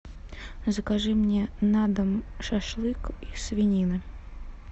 закажи мне на дом шашлык из свинины